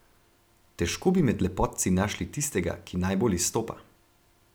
Težko bi med lepotci našli tistega, ki najbolj izstopa.